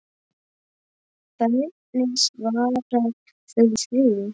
Hvernig svarar þú því?